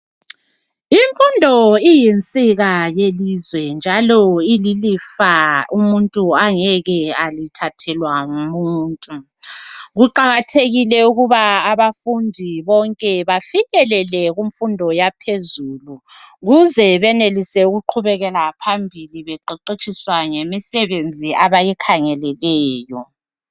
imfundo iyinsika yelizwe njalo ililifa umuntu angeke alithathelwa ngumuntu kuqakathekile ukuba abafundi bonke bafinyelele kumfundo yaphezulu ukuze benelise ukuqhubekela phambili beqeqetshiswa ngemisebenzi abayikhangeleleyo